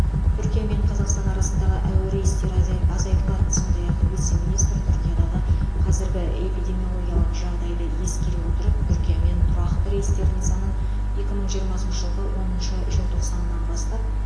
түркия мен қазақстан арасындағы әуе рейстері азай азайтылады сондай ақ вице министр түркиядағы қазіргі эпидемиологиялық жағдайды ескере отырып түркиямен тұрақты рейстердің санын екі мың жиырмасыншы жылғы оныншы желтоқсанынан бастап